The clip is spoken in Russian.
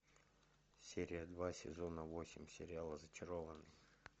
серия два сезона восемь сериала зачарованные